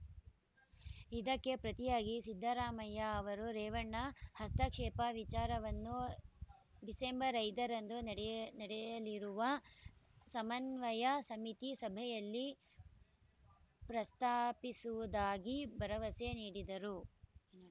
ಇದಕ್ಕೆ ಪ್ರತಿಯಾಗಿ ಸಿದ್ದರಾಮಯ್ಯ ಅವರು ರೇವಣ್ಣ ಹಸ್ತಕ್ಷೇಪ ವಿಚಾರವನ್ನು ಡಿಸೆಂಬರ್ ಐದರಂದು ನಡೆ ನಡೆಯಲಿರುವ ಸಮನ್ವಯ ಸಮಿತಿ ಸಭೆಯಲ್ಲಿ ಪ್ರಸ್ತಾಪಿಸುವುದಾಗಿ ಭರವಸೆ ನೀಡಿದರು